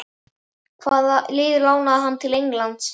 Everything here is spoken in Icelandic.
Hvaða lið lánaði hann til Englands?